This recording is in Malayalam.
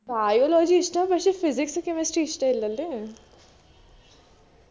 biology ഇഷ്ട്ട പക്ഷെ physics chemistry ഇഷ്ട്ടില്ലല്ലേ